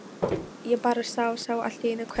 Ég bara sá. sá allt í einu hvern